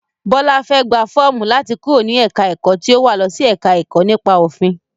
Bọlá fẹ́ gbà fọ́ọ̀mù láti kúrò ní ẹ̀ka ẹ̀kọ́ tí ó wà losi ẹ̀ka ẹ̀kọ́ nípa òfin.